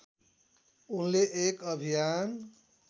उनले एक अभियान